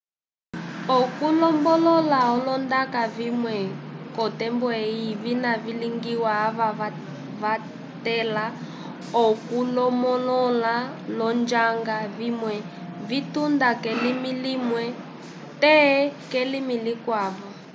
okulombolola olondaka vimwe kotembo eyi vina vilingiwa ava vatela okulomolola lonjanga vimwe vytunda kelimi limwe te kelimi likwavo